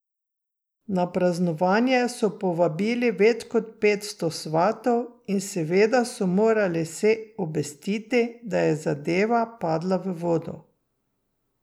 Na praznovanje so povabili več kot petsto svatov in seveda so morali vse obvestiti, da je zadeva padla v vodo.